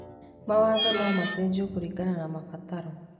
Mawatho no macenjio kũringana na mabataro.